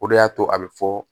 O de y'a to a bɛ fɔ